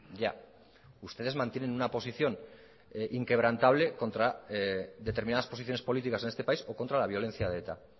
ya ustedes mantienen una posición inquebrantable contra determinadas posiciones políticas en este país o contra la violencia de eta